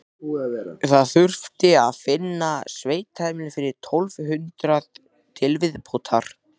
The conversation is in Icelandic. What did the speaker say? Það þurfti að finna sveitaheimili fyrir tólf hundruð til viðbótar.